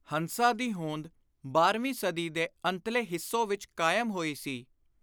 ਹੰਸਾ ਦੀ ਹੋਂਦ ਬਾਂਰਵੀ ਸਦੀ ਦੇ ਅੰਤਲੇ ਹਿੱਸੋ ਵਿਚ ਕਾਇਮ ਹੋਈ ਸੀ।